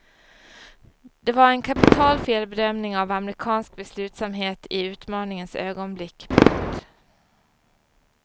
Det var en kapital felbedömning av amerikansk beslutsamhet i utmaningens ögonblick. punkt